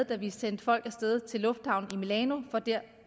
da vi sendte folk af sted til lufthavnen i milano for der